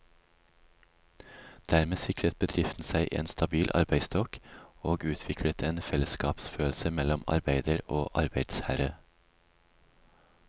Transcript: Dermed sikret bedriften seg en stabil arbeidsstokk, og utviklet en fellesskapsfølelse mellom arbeider og arbeidsherre.